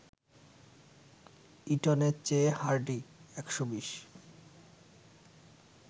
ইটনের চেয়ে হার্ডি ১২০